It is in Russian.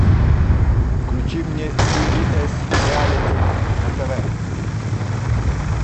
включи мне си би с реалити на тв